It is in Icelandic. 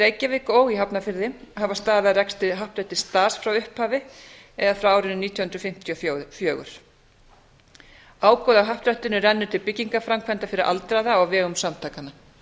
reykjavík og í hafnarfirði hafa staðið að rekstri happdrættis das frá upphafi eða frá árinu nítján hundruð fimmtíu og fjögur ágóði af happdrættinu rennur til byggingarframkvæmda fyrir aldraða á vegum samtakanna